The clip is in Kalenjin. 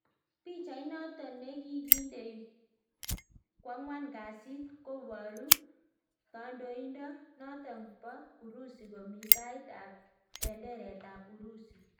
Pichait notok nekigindei kwangwan kasiit kobaruu kandoindoo notok poo urusi komii tait ap penderet ap urusi